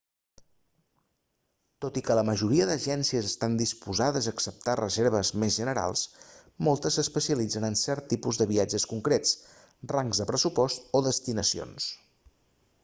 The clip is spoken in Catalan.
tot i que la majoria d'agències estan disposades a acceptar reserves més generals moltes s'especialitzen en certs tipus de viatges concrets rangs de pressupost o destinacions